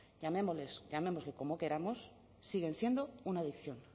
llamémosles como queramos siguen siendo una adicción